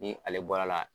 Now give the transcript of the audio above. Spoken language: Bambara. Ni ale bɔra la